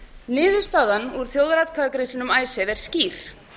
niðurstaðan úr þjóðaratkvæðagreiðslunni um icesave er skýr